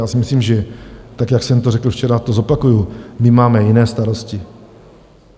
Já si myslím, že tak, jak jsem to řekl včera, to zopakuji, my máme jiné starosti.